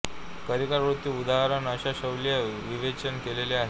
कारिका वृत्ति उदाहरण अशा शैलीत विवेचन केलेले आहे